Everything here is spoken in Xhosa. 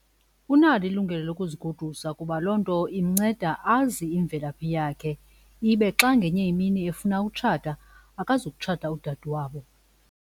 Unalo ilungelo lokuzigodusa kuba loo nto imnceda azi imvelaphi yakhe, ibe xa ngenye imini efuna ukutshata akazukutshata udade wabo.